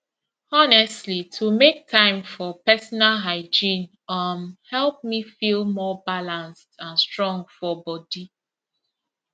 honestly to make time for personal hygiene um help me feel more balanced and strong for body